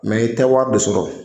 i tɛ wari de sɔrɔ